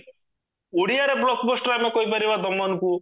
ଓଡିଆର blockbuster ଆମେ କହିପାରିବା ଦମନକୁ